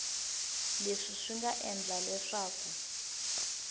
leswi swi nga endla leswaku